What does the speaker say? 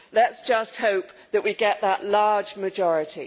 Let us just hope that we get that large majority.